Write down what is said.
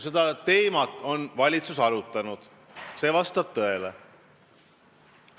Seda teemat on valitsus arutanud, see vastab tõele.